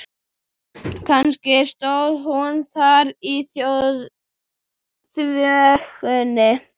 Kannski stóð hún þar í þvögunni.